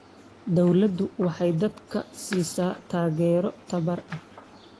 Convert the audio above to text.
Dawladdu waxay dadka siisaa taageero tababar.